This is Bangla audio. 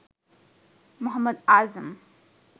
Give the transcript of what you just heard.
মোহাম্মদ আজম